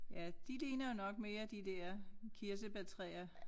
Ja de ligner jo nok mere de der kirsebærtræer